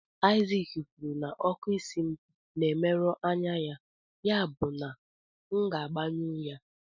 Isaac kwuru na ọkụ isi m na-emerụ anya ya, yabụ na m ga-agbanyụ ya.